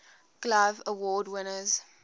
glove award winners